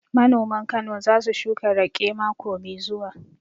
Manoman Kano za su shuka raƙe mako mai zuwa